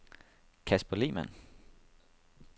Kasper Lehmann